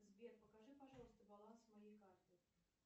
сбер покажи пожалуйста баланс моей карты